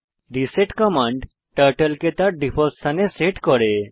reset command turtle কে তার default স্থানে সেট করে